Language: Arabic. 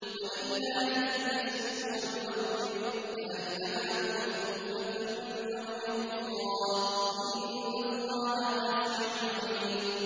وَلِلَّهِ الْمَشْرِقُ وَالْمَغْرِبُ ۚ فَأَيْنَمَا تُوَلُّوا فَثَمَّ وَجْهُ اللَّهِ ۚ إِنَّ اللَّهَ وَاسِعٌ عَلِيمٌ